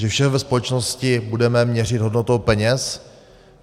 Že všem ve společnosti budeme měřit hodnotou peněz?